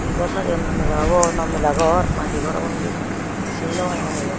ekko sajiyone mela obo na mela ghor na he ghor obo hejeni seni nogaronger mui eyan.